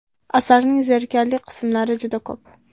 Asarning zerikarli qismlari juda ko‘p.